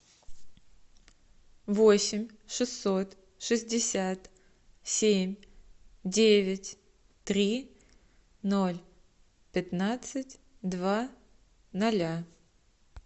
восемь шестьсот шестьдесят семь девять три ноль пятнадцать два ноля